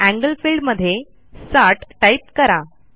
angle field मध्ये 60 type करा